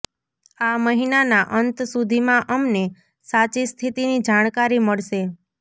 આ મહિનાના અંત સુધીમાં અમને સાચી સ્થિતિની જાણકારી મળશે